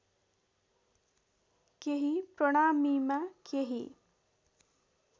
केही प्रणामीमा केही